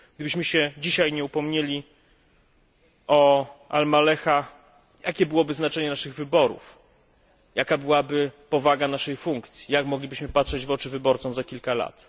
Gdybyśmy się dzisiaj nie upomnieli o Al Maleha, jakie byłoby znaczenie naszych wyborów, jaka byłaby powaga naszej funkcji, jak moglibyśmy patrzeć w oczy naszym wyborcom za kilka lat?